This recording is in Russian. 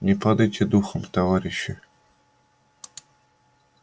не падайте духом товарищи